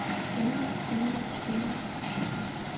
tænker tænker tænker